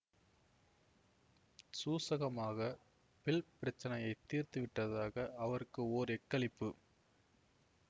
சூசகமாகப் bill பிரச்சனையை தீர்த்துவிட்டதாக அவருக்கு ஓர் எக்களிப்பு